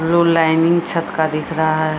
Rule lining छत का दिख रहा है।